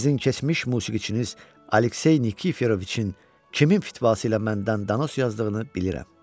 Sizin keçmiş musiqiçiniz Aleksey Nikiforoviçin kimin fitvası ilə məndən danos yazdığını bilirəm.